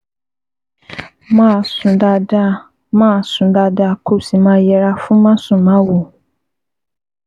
Máa sùn dáadáa, Máa sùn dáadáa, kó o sì máa yẹra fún másùnmáwo